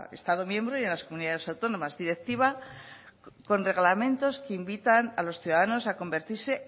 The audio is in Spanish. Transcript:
estado miembro y en las comunidades autónomas directiva con reglamentos que invitan a los ciudadanos a convertirse